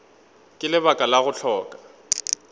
ka lebaka la go hloka